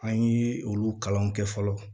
An ye olu kalan kɛ fɔlɔ